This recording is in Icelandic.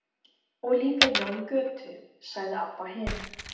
Og líka Jón í Götu, sagði Abba hin.